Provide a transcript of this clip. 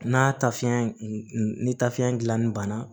N'a tafe ni tafe gilanni banna